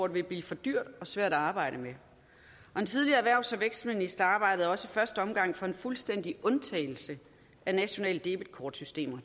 vil blive for dyrt og for svært at arbejde med den tidligere erhvervs og vækstminister arbejdede også i første omgang for en fuldstændig undtagelse af nationale debetkortsystemer